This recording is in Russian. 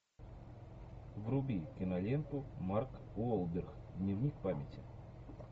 вруби киноленту марк уолберг дневник памяти